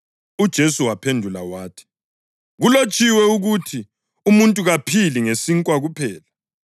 UJesu waphendula wathi, “Kulotshiwe ukuthi: ‘Umuntu kaphili ngesinkwa kuphela.’ + 4.4 UDutheronomi 8.3 ”